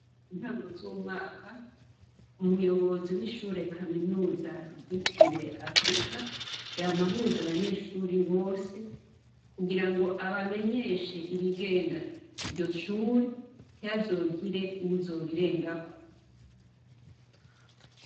Intango z'umwaka umuyobozi w'ishure kaminuza ryitiriwe afrika yamahuza abanyeshuri bose kugira ngo abamenyeshe ibigenga iryo cure ntihazogire uwuzobirengako.